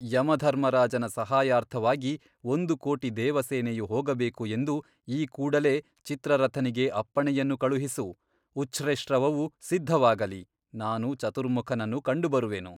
ಯಮಧರ್ಮರಾಜನ ಸಹಾಯಾರ್ಥವಾಗಿ ಒಂದು ಕೋಟಿ ದೇವಸೇನೆಯು ಹೋಗಬೇಕು ಎಂದು ಈ ಕೂಡಲೆ ಚಿತ್ರರಥನಿಗೆ ಅಪ್ಪಣೆಯನ್ನು ಕಳುಹಿಸು ಉಚ್ಛ್ರೆಶ್ರವವು ಸಿದ್ಧವಾಗಲಿ ನಾನು ಚತುರ್ಮುಖನನ್ನು ಕಂಡುಬರುವೆನು.